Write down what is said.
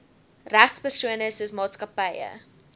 regspersone soos maatskappye